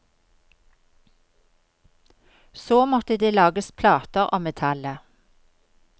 Så måtte det lages plater av metallet.